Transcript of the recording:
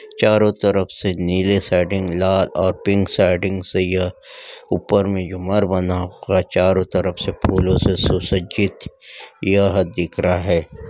चारों तरफ से नील सेटिंग लाल और पिक सेटिंग चाहिए ऊपर में झूमर बनाकर चारों तरफ से फूलों से सुसज्जित यह दिख रहा है।